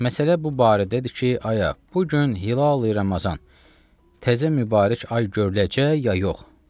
Məsələ bu barədədir ki, aya, bu gün hilalı Ramazan təzə mübarək ay görüləcək, ya yox.